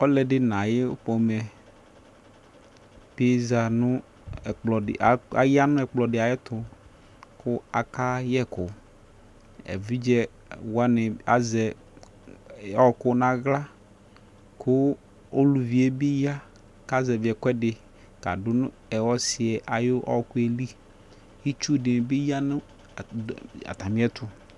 ɔlɔdɩ nʊ ayʊ udunu yɛ bɩ za nʊ ɛkplɔ dɩ ay'ɛtʊ, kʊ akayɛkʊ, evidzewanɩ azɛ ɔkʊ naɣla, kʊ uluvi yɛ bɩ ya, azɛvi ɛkʊɛdɩ kadʊ nʊ ɔsi yɛ ayʊ ɔɔkʊ yɛ li, itsu dɩ bɩ ya nʊ atamiɛtʊ